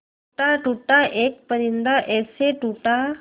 टूटा टूटा एक परिंदा ऐसे टूटा